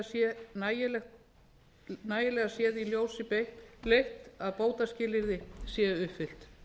þess að nægilega sé í ljósi xxx að bótaskilyrði séu uppfyllt